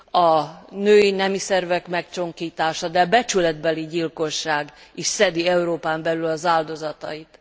A női nemi szervek megcsonkítása, de becsületbeli gyilkosság is szedi Európán belül az áldozatait.